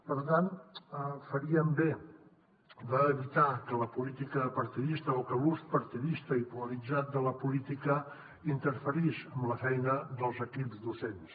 per tant faríem bé d’evitar que la política partidista o que l’ús partidista i polaritzat de la política interferís en la feina dels equips docents